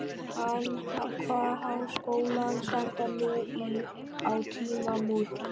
Hann kvað Háskólann standa nú á tímamótum.